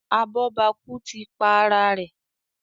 Abobaku tí pá àrà rẹ.